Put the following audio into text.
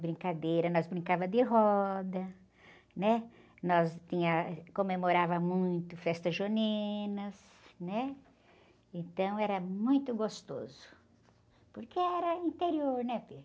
Brincadeira, nós brincávamos de roda, né? Nós tínhamos, comemorávamos muito festas juninas, né? Então era muito gostoso, porque era interior, não é?